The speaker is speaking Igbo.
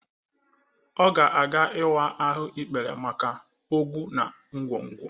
Ọ ga-aga ịwa ahụ ikpere maka ogbụ na nkwonkwo.